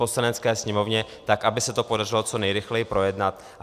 Poslanecké sněmovně tak, aby se to podařilo co nejrychleji projednat.